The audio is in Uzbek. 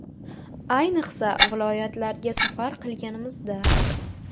Ayniqsa, viloyatlarga safar qilganimizda.